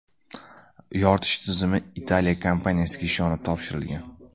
Yoritish tizimi Italiya kompaniyasiga ishonib topshirilgan.